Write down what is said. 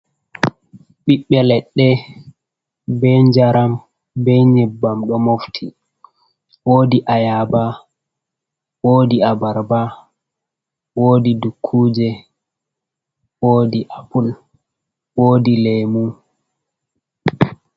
Ɓiɓɓe leɗɗe, be njaram, be nyebbam ɗo mofti, wodi ayaba, wodi abarba, wodi dukkuje, wodi apul, wodi lemu.